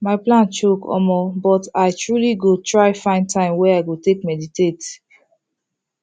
my plan choke omo but i truely go try find time wey i go take meditate